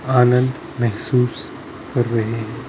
आनंद महसूस कर रहे हैं ।